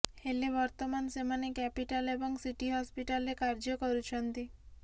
ହେଲେ ବର୍ତ୍ତମାନ ସେମାନେ କ୍ୟାପିଟାଲ୍ ଏବଂ ସିଟି ହସ୍ପିଟାଲରେ କାର୍ଯ୍ୟ କରୁଛନ୍ତି